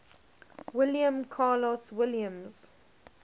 william carlos williams